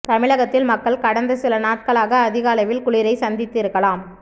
தமிழகத்தில் மக்கள் கடந்த சில நாட்களாக அதிக அளவில் குளிரை சந்தித்து இருக்கலாம்